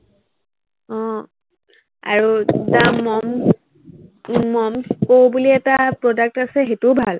উম আৰু দ্য়া মম মম স্কু বুলি এটা product আছে, সেইটোও ভাল